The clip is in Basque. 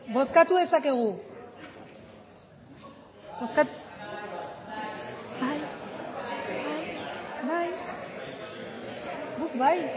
bozkatu dezakegu bai